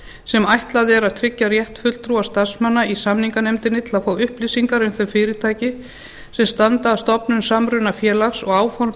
sem ætlað er að tryggja rétt fulltrúa starfsmanna í samninganefndinni til að fá upplýsingar um þau fyrirtæki sem standa að stofnun samrunafélags og áform